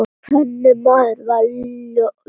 Þannig maður var Jóhann.